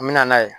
N mɛna n'a ye